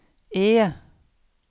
E